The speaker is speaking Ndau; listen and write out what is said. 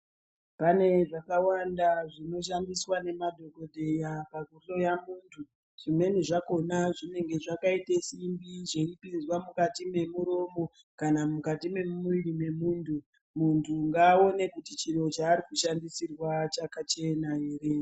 Pane zvakawanda zvinoshandiswa ngemadhokodheya pakuhloya muntu zvimweni zvakhona zvinenge zvakaite simbi zveipinzwa mukati mwedu kana mukati mwemuviri mwedumbu. Muntu ngaaone kuti chaarikushandisirwa chakachena here.